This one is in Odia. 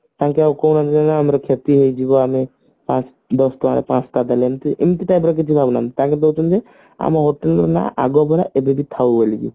ତାଙ୍କେ ଆଉ ଆମର କ୍ଷତି ହେଇଯିବ ଆମେ ପାଞ୍ଚ ଦଶଟଙ୍କାରେ ପାଞ୍ଚଟା ଦେଲେ ଏମତି ଏମତି ତ ଦିହରେ କିଛି ଭାବୁନାହାନ୍ତି ତାଙ୍କୁ ଦଉଛନ୍ତି ଆମ hotel ହେଲା ଆଗରୁ ଥିଲା ଏବେବି ଥାଉ ବୋଲି